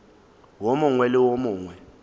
wo mongwe le wo mongwe